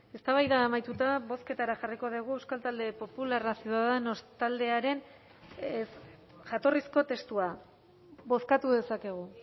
eztabaida amaituta bozketara jarriko dugu euskal talde popularra ciudadanos taldearen jatorrizko testua bozkatu dezakegu